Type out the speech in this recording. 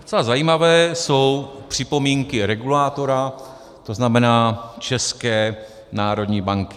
Docela zajímavé jsou připomínky regulátora, to znamená České národní banky.